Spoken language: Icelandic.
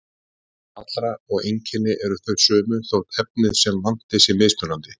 Áhrif allra og einkenni eru þau sömu, þótt efnið sem vanti sé mismunandi.